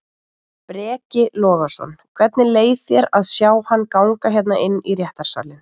Breki Logason: Hvernig leið þér að sjá hann ganga hérna inn í réttarsalinn?